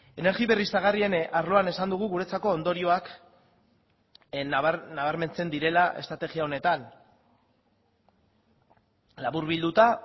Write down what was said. energia berriztagarrien arloan esan dugu guretzako ondorioak nabarmentzen direla estrategia honetan laburbilduta